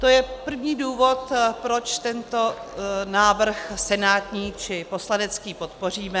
To je první důvod, proč tento návrh senátní či poslanecký podpoříme.